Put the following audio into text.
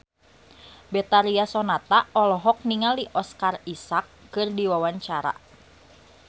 Betharia Sonata olohok ningali Oscar Isaac keur diwawancara